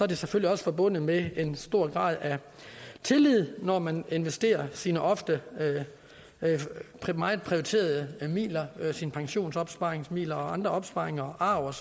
det selvfølgelig forbundet med en stor grad af tillid når man investerer sine ofte meget prioriterede midler sine pensionsopsparingsmidler og andre opsparinger arv